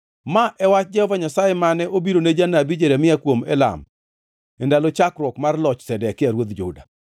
Ma e wach Jehova Nyasaye mane obirone janabi Jeremia kuom Elam, e ndalo chakruok mar loch Zedekia ruodh Juda: